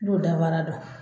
Don dabara dɔn